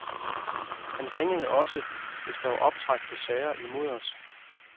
Han ringede også, hvis der var optræk til sager imod os.